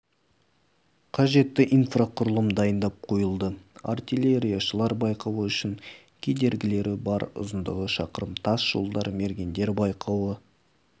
қажетті инфрақұрылым дайындап қойылды артиллерияшылар байқауы үшін кедергілері бар ұзындығы шақырым тас жолдар мергендер байқауы